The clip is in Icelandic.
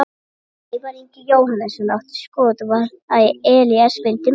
Ævar Ingi Jóhannesson átti skot sem var varið og Elías fylgdi eftir.